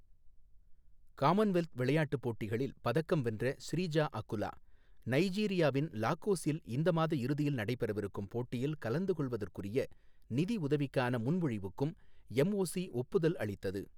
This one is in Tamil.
காமன்வெல்த் விளையாட்டுப் போட்டிகளில் பதக்கம் வென்ற ஸ்ரீஜா அகுலா, நைஜீரியாவின் லாகோசில் இந்த மாத இறுதியில் நடைபெறவிருக்கும் போட்டியில் கலந்து கொள்வதற்குரிய நிதி உதவிக்கான முன்மொழிவுக்கும் எம்ஓசி ஒப்புதல் அளித்தது.